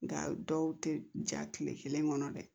Nga dɔw tɛ ja tile kelen kɔnɔ dɛ